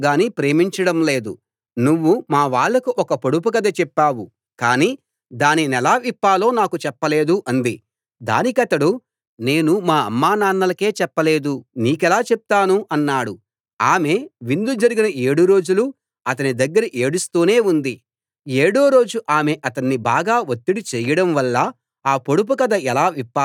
సంసోను భార్య అతని ఎదుట ఏడవడం మొదలు పెట్టింది నువ్వు నన్ను ద్వేషిస్తున్నావు గానీ ప్రేమించడం లేదు నువ్వు మా వాళ్లకు ఒక పొడుపు కథ చెప్పావు కానీ దానినెలా విప్పాలో నాకు చెప్పలేదు అంది దానికతడు నేను మా అమ్మానాన్నలకే చెప్పలేదు నీకెలా చెప్తాను అన్నాడు ఆమె విందు జరిగిన ఏడు రోజులూ అతని దగ్గర ఏడుస్తూనే ఉంది